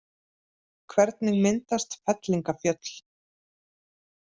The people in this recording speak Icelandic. Hvernig myndast fellingafjöll?